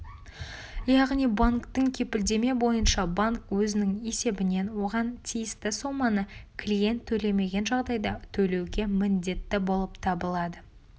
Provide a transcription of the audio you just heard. яғни банктік кепілдеме бойынша банк өзінің есебінен оған тиісті соманы клиент төлемеген жағдайда төлеуге міндетті болып табылады